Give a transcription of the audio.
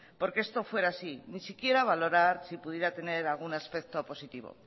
porque esto fuera así ni siquiera valorar si pudiera tener algún aspecto positivo